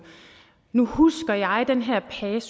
nu husker jeg den her passus